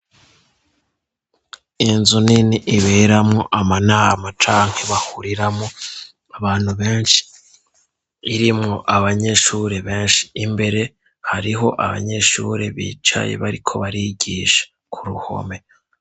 Inzu nini iberamwo amanama canke bahuriramwo abantu benshi irimwo abanyeshuri benshi, imbere hariho abanyeshuri bicaye bariko barigisha ku ruhome.